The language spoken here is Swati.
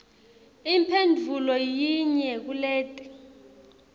imphendvulo yinye kuleti